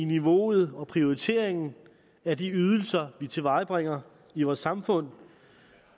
niveauet og prioriteringen af de ydelser vi tilvejebringer i vores samfund